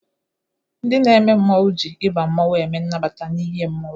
Ndị na-eme mmọnwụ jị ịba mmọnwụ eme nnabata n'ihe mmọnwụ.